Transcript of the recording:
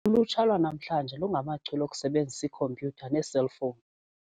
Ulutsha lwanamhla lungachule okusebenzisa ikhompyutha neeselfowuni.